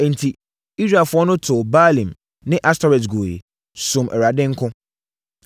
Enti, Israelfoɔ no too Baalim ne Astoret guiɛ, somm Awurade nko.